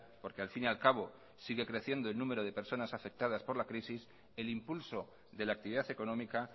porque al fin y al cabo sigue creciendo en número de personas afectadas por la crisis el impulso de la actividad económica